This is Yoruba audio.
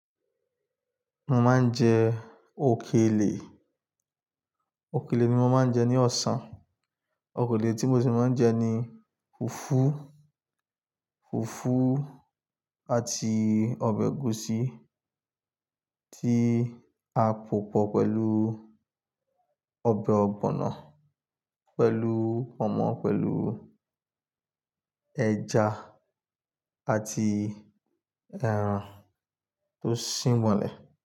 Mo máa ń jẹ òkèlè, òkèlè ni mo máa ń jẹ ní ọ̀sán. Òkèlè tí mo sì máa ń jẹ ni fùfú, fùfú àti ọbẹ̀ ẹ̀gúsí tí a pòpọ̀ pẹ̀lú ọbẹ̀ ọ̀gbọ̀nọ̀, pẹ̀lú pọ̀nmọ́, pẹ̀lú ẹja àti ẹran tó sín bọnlẹ̀.